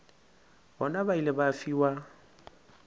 bona ba ile ba fiwa